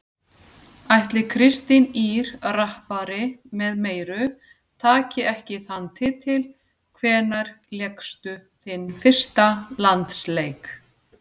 Ætli Kristín Ýr rappari með meiru taki ekki þann titil Hvenær lékstu þinn fyrsta landsleik?